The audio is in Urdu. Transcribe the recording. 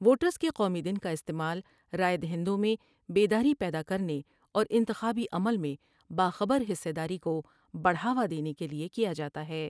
ووٹرس کے قومی دن کا استعمال رائے دہندوں میں بیداری پیدا کر نے اور انتخابی عمل میں باخبر حصہ داری کو بڑھاوا دینے کے لئے کیا جا تا ہے ۔